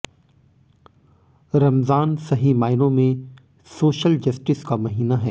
रमजान सही मायनों में सोशल जस्टिस का महीना है